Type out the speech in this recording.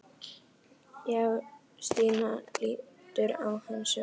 Já, Stína lítur á hann sem barnið sitt.